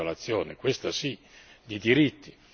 È una violazione, questa sì, di diritti.